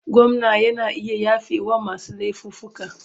Gwamna yana iya yafewa masu laifuffuka.